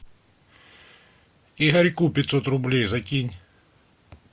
игорьку пятьсот рублей закинь